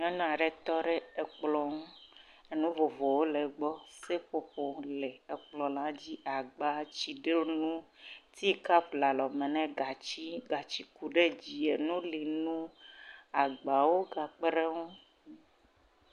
Nyɔnu aɖe tɔ de ekplɔ ŋu, enu vovowo le egbɔ, seƒoƒo le kplɔ la dzi, agba, tsidenu, tie kap le alɔme nɛ gatsi, gatsi ku de dzi neli ŋu, agba wo ga kpeɖe ŋu.